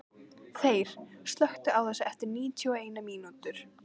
Þeyr, slökktu á þessu eftir níutíu og eina mínútur.